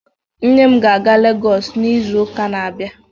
Nne m ga-aga Legọs n'izu ụka na-abịa